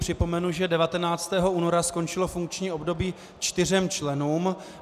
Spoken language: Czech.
Připomenu, že 19. února skončilo funkční období čtyřem členům.